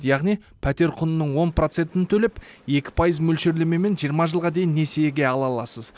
яғни пәтер құнының он процентін төлеп екі пайыз мөлшерлемемен жиырма жылға дейін несиеге ала аласыз